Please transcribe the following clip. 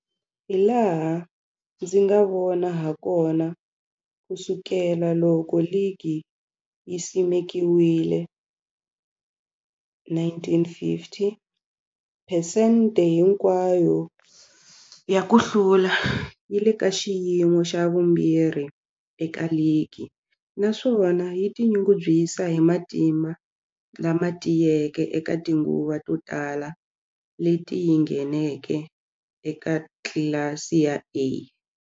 Hilaha ndzi nga vona hakona, ku sukela loko ligi yi simekiwile, 1950, phesente hinkwayo ya ku hlula yi le ka xiyimo xa vumbirhi eka ligi, naswona yi tinyungubyisa hi matimba lama tiyeke eka tinguva to tala leti yi ngheneke eka tlilasi ya A.